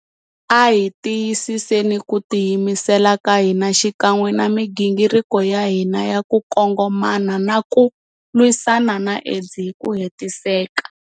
A hi tiyisiseni ku tiyimisela ka hina xikan'we na migingiriko ya hina ya ku kongomana na ku lwisana na AIDS hi ku hetiseka.